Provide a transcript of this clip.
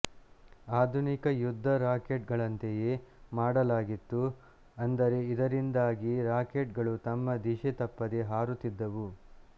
ಆಧುನಿಕ ಯುದ್ದ ರಾಕೆಟ್ ಗಳಂತೆಯೇ ಮಾಡಲಾಗಿತ್ತುಅಂದರೆ ಇದರಿಂದಾಗಿ ರಾಕೆಟ್ ಗಳು ತಮ್ಮ ದಿಶೆ ತಪ್ಪದೇ ಹಾರುತ್ತಿದ್ದವು